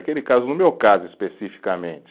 Aquele caso, no meu caso especificamente